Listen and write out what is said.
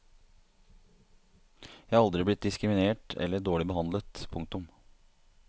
Jeg er aldri blitt diskriminert eller dårlig behandlet. punktum